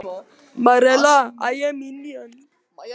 Marela, hvenær kemur strætó númer fjögur?